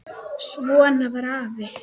Svona var afi.